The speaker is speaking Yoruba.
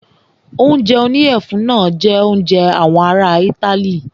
Oúnjẹ oníyẹ̀fun náà jẹ oúnjẹ àwọn ará itály.